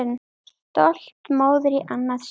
Stolt móðir í annað sinn.